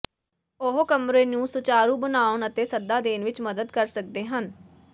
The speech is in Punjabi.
ਉਹ ਕਮਰੇ ਨੂੰ ਸੁਚਾਰੂ ਬਣਾਉਣ ਅਤੇ ਸੱਦਾ ਦੇਣ ਵਿਚ ਮਦਦ ਕਰ ਸਕਦੇ ਹਨ